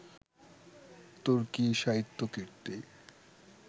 তুর্কি সাহিত্য কীর্তি